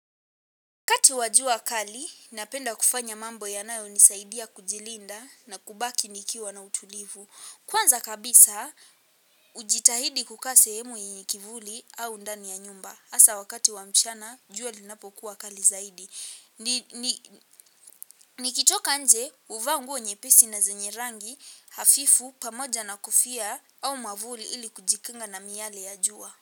Wakati wa jua kali, napenda kufanya mambo yanayo nisaidia kujilinda na kubaki nikiwa na utulivu. Kwanza kabisa, ujitahidi kukaa sehemu yenye kivuli au undani ya nyumba. Asa wakati wa mchana, jua linapokuwa kali zaidi. Nikitoka nje, huvaa nguo nyepesi na zenye rangi hafifu pamoja na kofia au mavuli ili kujikinga na miyale ya jua.